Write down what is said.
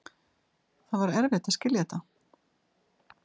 Það var erfitt að skilja þetta.